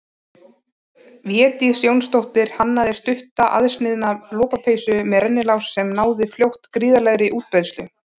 Védís Jónsdóttir hannaði stutta aðsniðna lopapeysu með rennilás sem náði fljótt gríðarlegri útbreiðslu.